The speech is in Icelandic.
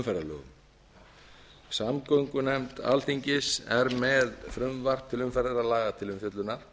umferðarlögum samgöngunefnd alþingis er með frumvarp til umferðarlaga til umfjöllunar